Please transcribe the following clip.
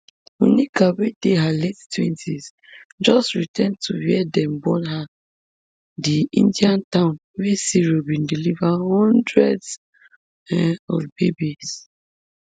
monica wey dey her late twentys just return to wia dem born her di indian town wia siro bin deliver hundreds um of babies